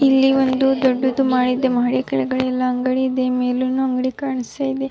ಇಲ್ಲಿ ಒಂದು ದೊಡ್ಡದು ಮಾಡ್ ಇದೆ ಮಹಡಿ ಕೆಳಗಡೆ ಎಲ್ಲ ಅಂಗಡಿ ಇದೆ ಮೆಲುನು ಅಂಗಡಿ ಕಾಣಿಸ್ತ ಇದೆ .